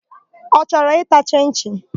Ọ chọrọ ịta chịn-chịn?